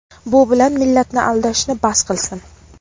bu bilan millatni aldashni bas qilsin.